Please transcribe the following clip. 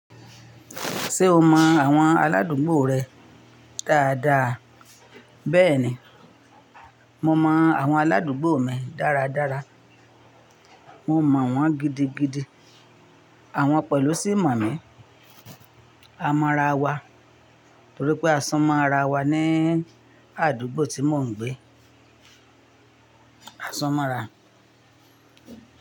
Ṣé o mọ àwọn aládùúgbò rẹ dáadáa? Bẹ́ẹ̀ni, mo mọ àwọn aládùúgbò mi dáradára. Mo mọ̀ wọ́n gidigidi. Àwọn pẹ̀lú sì mọ̀ mí. A mọ ra wa nítorí pé a sún mọ́ra wa ní àdúgbò tí mò ń gbé. A sún mọ́ra.